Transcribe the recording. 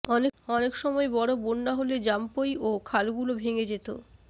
অনেক সময় বড় বন্যা হলে জামপৈ ও জামপৈ খালগুলো ভেঙে যেত